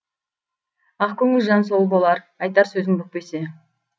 ақ көңіл жан сол болар айтар сөзін бүкпесе